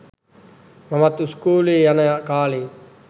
මමත් ඉස්කෝලෙ යන කාලේ